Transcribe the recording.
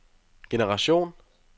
generation